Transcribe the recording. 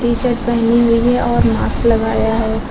T-shirt पहनी हुई है और मास्क लगाया है।